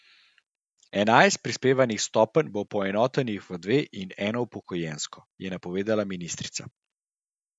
Enajst prispevnih stopenj bo poenotenih v dve in eno upokojensko, je napovedala ministrica.